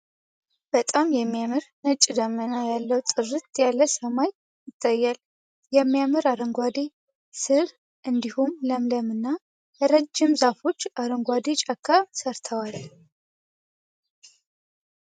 በጣም የሚያምር ነጭ ዳመና ያለው ጥርት ያለ ሰማይ ይታያል ። የሚያምር አረንጓዴ ስር እንዲሁም ለምለም እና ረጅም ዛፎች አረንጓዴ ጫካ ሰርተዋል ።